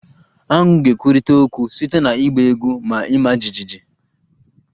Aṅu ga-ekwurịta okwu site na ịgba egwu na ịma jijiji